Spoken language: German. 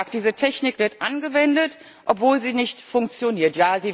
Wie gesagt, diese Technik wird angewendet, obwohl sie nicht funktioniert.